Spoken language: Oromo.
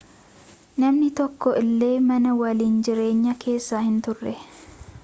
namni tokko illee mana waliin jireenyaa keessa hin turre